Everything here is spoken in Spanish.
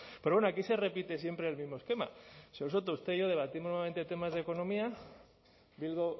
pero bueno aquí se repite siempre el mismo esquema señor soto usted y yo debatimos normalmente temas de economía bildu